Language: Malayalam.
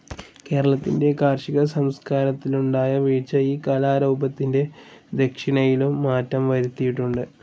കേരളത്തിൻ്റെ കാർഷിക സംസ്കാരത്തിലുണ്ടായ വീഴ്ച ഈ കലാരൂപത്തിൻ്റെ ദക്ഷിണയിലും മാറ്റം വരുത്തിയിട്ടുണ്ട്.